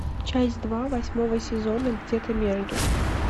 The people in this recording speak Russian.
часть два восьмого сезона где то между